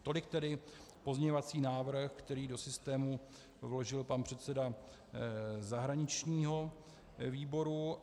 Tolik tedy pozměňovací návrh, který do systému vložil pan předseda zahraničního výboru.